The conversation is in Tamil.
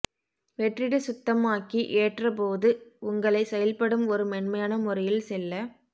வெற்றிட சுத்தமாக்கி ஏற்ற போது உங்களை செயல்படும் ஒரு மென்மையான முறையில் செல்ல